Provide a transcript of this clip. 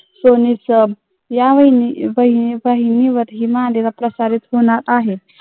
ही मालिका प्रसारित होणार आहे.